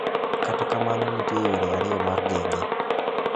Kata kamano nitie yore ariyo mar geng'e.